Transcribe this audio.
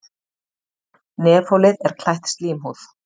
Nefholið er klætt slímhúð.